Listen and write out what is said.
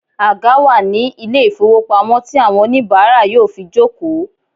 Àga wà ní ilé ìfowópamọ́ tí àwọn oníìbárà yóò fi jòkó